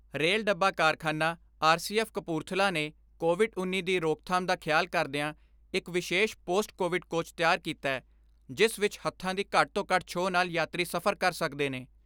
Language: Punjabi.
ਰੇਲ ਡੱਬਾ ਕਾਰਖਾਨਾ ਆਰ ਸੀ ਐਫ਼ ਕਪੂਰਥਲਾ ਨੇ ਕੋਵਿਡ ਉੱਨੀ ਦੀ ਰੋਕਥਾਮ ਦਾ ਖਿਆਲ ਕਰਦਿਆਂ ਇਕ ਵਿਸ਼ੇਸ਼ ਪੋਸਟ ਕੋਵਿਡ ਕੋਚ ਤਿਆਰ ਕੀਤੈ ਜਿਸ ਵਿਚ ਹੱਥਾਂ ਦੀ ਘੱਟ ਤੋਂ ਘੱਟ ਛੋਹ ਨਾਲ ਯਾਤਰੀ ਸਫ਼ਰ ਕਰ ਸਕਦੇ ਨੇ।